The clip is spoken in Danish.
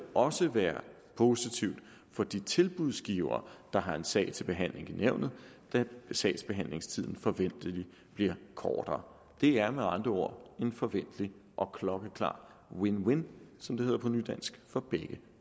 også være positivt for de tilbudsgivere der har en sag til behandling i nævnet da sagsbehandlingstiden forventeligt bliver kortere det er med andre ord en forventelig og klokkeklar win win som det hedder på nydansk for begge